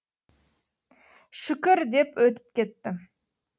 шүкір деп өтіп кеттім